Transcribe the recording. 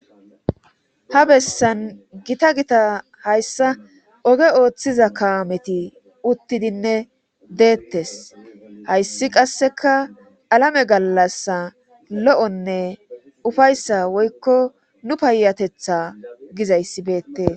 ha bessan gita gita hayssa oge ooththiza kaameti uttidinne deettes hayssi qasseka alame gallasa lo'onne ufayssa woykko nu payatetha gizayssi beettee